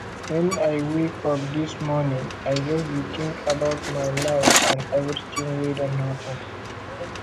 wen i wake up dis morning i just dey think about my life and everything wey don happen